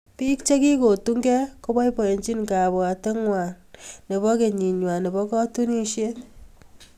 Biik chekikotungei koboibochini kabwateng'wai chebo kenying'wai nebo katunisyet.